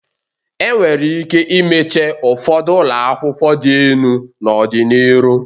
E nwere ike imeche ụfọdụ ụlọakwụkwọ dị enu n'ọdị n'iru.